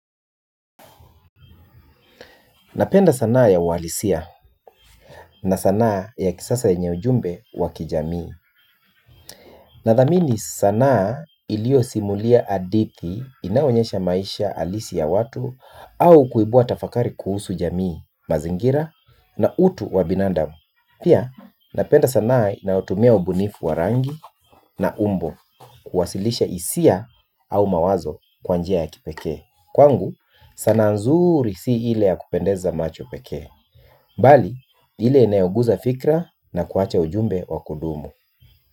Napenda sanaa ya uwalisia na sanaa ya kisasa yenye ujumbe wa kijamii. Nathamini sanaa iliosimulia adithi inayoonyesha maisha alisi ya watu au kuibua tafakari kuhusu jamii mazingira na utu wa binandam. Pia napenda sanaa inayotumia ubunifu wa rangi na umbo kuwasilisha isia au mawazo kwa njia ya kipekee. Kwangu sanaa nzuri si ile ya kupendeza macho pekee. Bali, ni ile inayoguza fikra na kuacha ujumbe wa kudumu.